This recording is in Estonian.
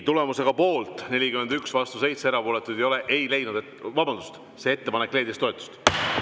Tulemusega poolt 41, vastu 7, erapooletuid ei ole, ettepanek leidis toetust.